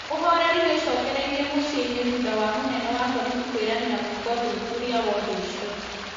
ũhoreri nĩũcokereirie mũciĩ-inĩ thutha wa mũnene wa borĩthĩ kũĩranĩra gwĩka ũthũthũrĩa wa ũndũ ũcio